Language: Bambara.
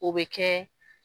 O bɛ kɛ